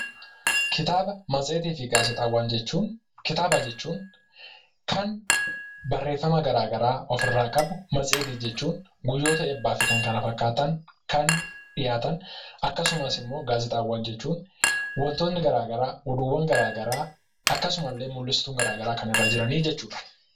Kitaaba, matseetii fi gaazexaawwan jechuun, kitaaba jechuun kan barreeffama garagaraa ofirraa qabu, matseetii jechuun guyyoota eebbaa fi kan kana fakkaatan kan dhiyaatan akkasumas immoo gaazexaawwan jechuun wantoonnii garaagaraa, oduuwwan garaa garaa akkasumallee mullistuun garaa garaa kan irra jiranii jechuudha.